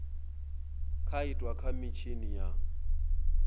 nga itwa kha mitshini ya